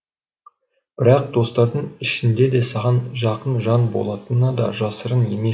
бірақ достардың ішіндеде саған жақын жан болатыны да жасырын емес